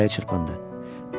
Sonra ürəyi çırpındı.